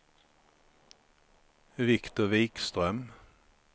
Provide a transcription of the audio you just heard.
Viktor Vikström